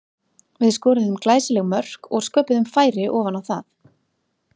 Við skoruðum glæsileg mörk og sköpuðum færi ofan á það.